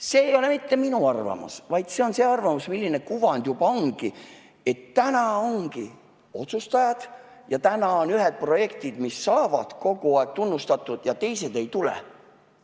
See ei ole mitte minu arvamus, vaid see on see arvamus, milline kuvand juba ongi – et täna ongi ühed otsustajad ja täna ongi ühed projektid, mis saavad kogu aeg tunnustatud, ja teised ei saa.